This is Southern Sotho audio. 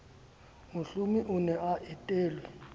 mohlomi o ne a etelwe